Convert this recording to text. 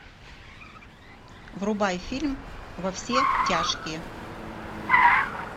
врубай фильм во все тяжкие